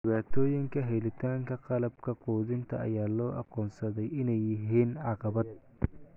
Dhibaatooyinka helitaanka qalabka quudinta ayaa loo aqoonsaday inay yihiin caqabad.